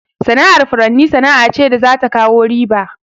Sana'ar furanni sana'a ce da za ta kawo riba.